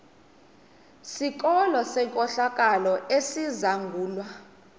sikolo senkohlakalo esizangulwa